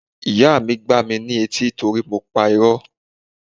Ìyá mi gbá mi ní etí torí mo pa irọ́.